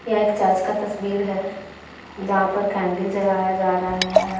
यह एक चर्च का तस्वीर है जहाँ पर कैन्डल जलाया जा रहा है।